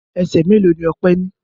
Ẹsẹ̀ mélòó ni Ọpẹ́ ní?